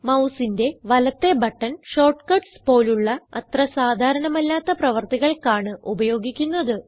മൌസിന്റെ വലത്തേ button shortcuts പോലുള്ള അത്ര സാധാരണമല്ലാത്ത പ്രവർത്തികൾക്കാണ് ഉപയോഗിക്കുന്നത്